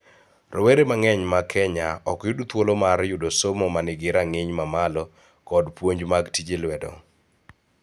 Rowere mang'eny ma Kenya ok yud thuolo mar yudo somo ma nigi rang�iny mamalo kod puonj mag tije lwedo.